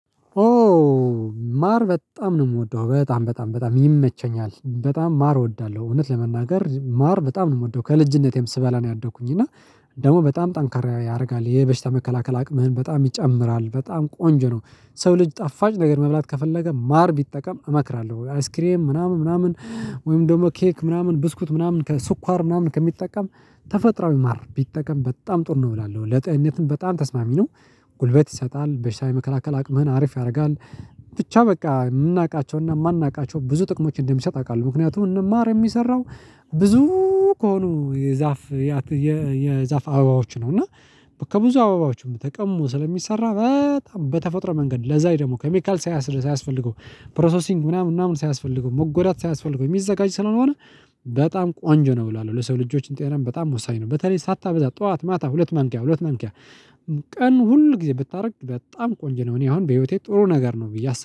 ኦ ማር በጣም ነው የምወደው በጣም በጣም በጣም ይመቸኛል በጣም ማር እወዳለሁ እውነት ለመናገር ማር በጣም ነው የምወደው ከልጅነቴም ስበላ ነው ያደኩኝ እና ደግሞ በጣም ጠንካራ ያደርጋል የበሽታ መከላከል አቅምህን በጣም ይጨምራል በጣም ቆንጆ ነው። ሰው ልጅ ጠፋጭ ነገር መብላት ከፈለገ ማር ቢጠቀም እመክራለሁ። አይስክሬም ምናምን ምናምን ወይም ደግሞ ኬክ ምናምን ብስኩት ምናምን ከስኳር ምናምን ከሚጠቀም ተፈጥሮ ማር ቢጠቀም በጣም ጥር ነው እላለው ለጤንነትም በጣም ተስማሚ ነው። ጉልበት ይሰጣል በሽታ የመከላከል አቅምህን አሪፍ ያደርጋል። ብቻ በቃ የምናውቃቸውና የማናውቃቸው ብዙ ጥቅሞች እንደሚሰጥ አውቃለሁ። ምክንያቱም እና ማር የሚሰራው ብዙ ከሆኑ የዛፍ የዛፍ አበባዎች ነው እና ከብዙ አባባዎች ተቀምሞ ስለሚሰራ በጣም በተፈጥሮ መንገድ ለዛ ደግሞ ኬሚካል ሳያስር ሳያስፈልገው ፕሮሰሲንግ ምናምን ምናምን ሳያስፈልገው መጎዳት ሳያስፈልገው የሚዘጋጅ ስለሆነ በጣም ቆንጆ ነው እላለሁ ለሰው ልጆች ጤነ በጣም ወሳኝ ነው። በተለይ ሳታበዛ ጠዋት ማታ ሁለት ማንኪያ ሁለት ማንኪያ ቀኑ ሁል ጊዜ ብታደርግ በጣም ቆንጆ ነው። እኔ አሁን በህይወቴ ጥሩ ነገር ነው ብዬ